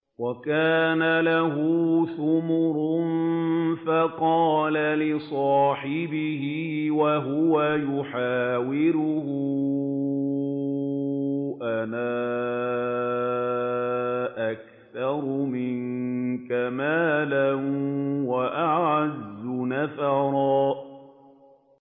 وَكَانَ لَهُ ثَمَرٌ فَقَالَ لِصَاحِبِهِ وَهُوَ يُحَاوِرُهُ أَنَا أَكْثَرُ مِنكَ مَالًا وَأَعَزُّ نَفَرًا